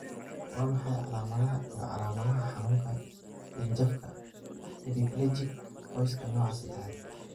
Waa maxay calaamadaha iyo calaamadaha xanuunka dhanjafka hemiplegic qoyska nooca sedhaxad ?